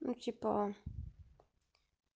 ну типа